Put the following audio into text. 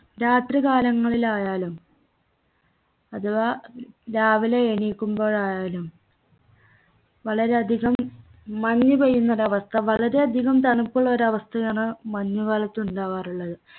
രാത്രികാലങ്ങളിലായാലും രാത്രികാലങ്ങളിലായാലും അഥവാ രാവിലെ എണീക്കുമ്പോഴായാലും വളരെയധികം മഞ്ഞുപെയ്യുന്നൊരവസ്ഥ വളരെയധികം തണുപുള്ളോരവസ്ഥയാണ് മഞ്ഞുകാലത്തുണ്ടാവാറുള്ളത്